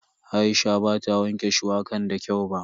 Aisha bata wanke shuwakan da kyau ba.